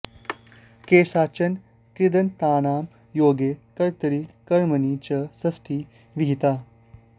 केषाञ्चन कृदन्तानां योगे कर्तरि कर्मणि च षष्ठी विहिता